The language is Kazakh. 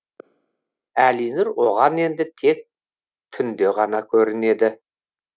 әлинұр оған енді тек түнде ғана көрінеді